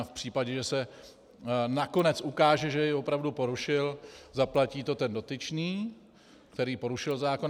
A v případě, že se nakonec ukáže, že jej opravdu porušil, zaplatí to ten dotyčný, který porušil zákon.